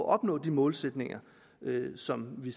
opnå de målsætninger som vi